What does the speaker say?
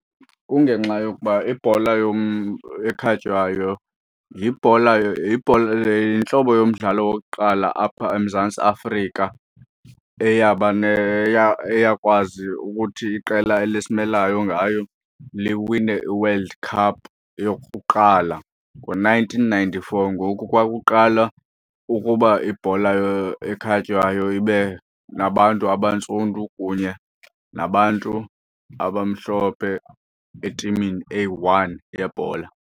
Kungenxa yokuba ibhola ekhatywayo yibhola yibhola yintlobo yomdlalo wokuqala apha eMzantsi Afrika eyaba eyakwazi ukuthi iqela elisimelayo ngayo liwine i-world cup yokuqala ngo-nineteen ninety-four ngoku kwakuqalwa ukuba ibhola ekhatywayo ibe nabantu abantsundu kunye nabantu abamhlophe etimini eyi-one yebhola.